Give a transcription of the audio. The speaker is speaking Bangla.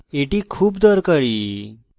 এটি খুব দরকারী